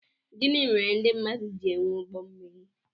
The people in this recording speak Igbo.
Gịnị mèrè ndị mmadụ jị enwè ụgbọ mmiri?